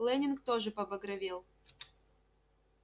лэннинг тоже побагровел